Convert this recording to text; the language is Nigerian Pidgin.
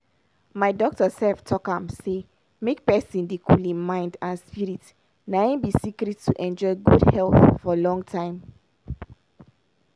my doctor sef talk am say make pesin dey cool hin mind and spirit na im be secret to enjoy good health for long time.